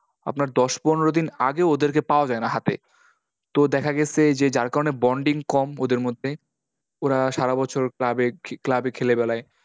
আপনার দশ পনেরো দিন আগে ওদেরকে পাওয়া যায়না হাতে। তো দেখা গেছে, যে যার কারণে bonding কম ওদের মধ্যে। ওরা সারাবছর club club এ খেলে বেড়ায়।